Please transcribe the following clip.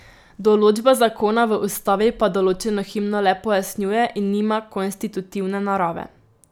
Določba zakona v ustavi pa določeno himno le pojasnjuje in nima konstitutivne narave.